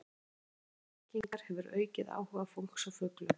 Fræðsla um merkingar hefur aukið áhuga fólks á fuglum.